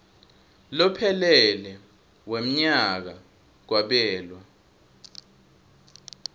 lophelele wemnyaka kwabelwa